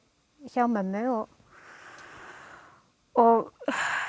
hjá mömmu og og